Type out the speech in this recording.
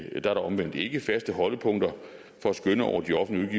er der omvendt ikke faste holdepunkter for at skønne over de offentlige